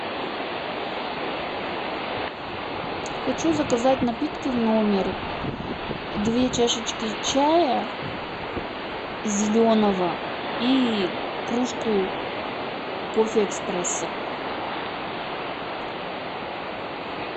хочу заказать напитки в номер две чашечки чая зеленого и кружку кофе экспрессо